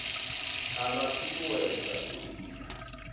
a vha ṱuṱuwedza u isa